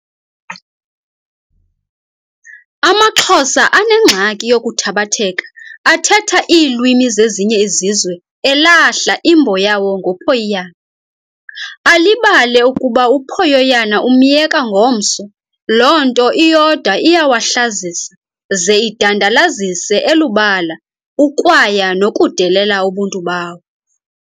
Amaxhosa anengxaki yokuthabatheka athetha iilwimi zezinye izizwe elahla, imbo yawo ngophoyiyana, alibale ukuba uphoyoyana umyeka ngomso, loo nto iyodwa iyawahlazisa ze idandalalize elubala ukwaya nokudelela ubuntu bawo.